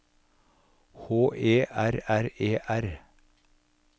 H E R R E R